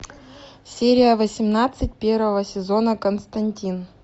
серия восемнадцать первого сезона константин